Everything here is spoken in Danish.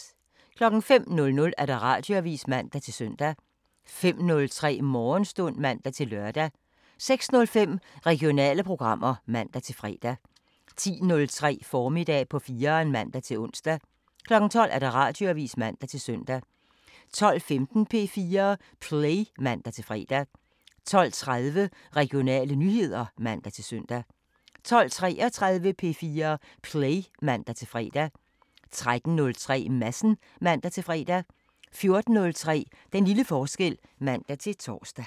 05:00: Radioavisen (man-søn) 05:03: Morgenstund (man-lør) 06:05: Regionale programmer (man-fre) 10:03: Formiddag på 4'eren (man-ons) 12:00: Radioavisen (man-søn) 12:15: P4 Play (man-fre) 12:30: Regionale nyheder (man-søn) 12:33: P4 Play (man-fre) 13:03: Madsen (man-fre) 14:03: Den lille forskel (man-tor)